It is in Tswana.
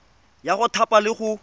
ya go thapa le go